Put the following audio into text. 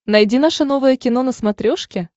найди наше новое кино на смотрешке